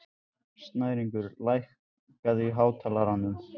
Snæringur, lækkaðu í hátalaranum.